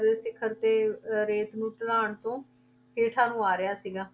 ਦੇ ਸਿਖ਼ਰ ਤੇ ਅਹ ਰੇਤ ਨੂੰ ਢਲਾਣ ਤੋਂ ਹੇਠਾਂ ਨੂੰ ਆ ਰਿਹਾ ਸੀਗਾ।